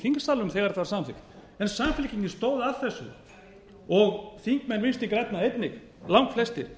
þingsalnum þegar þetta var samþykkt en samfylkingin stóð að þessu og þingmenn vinstri grænna einnig langflestir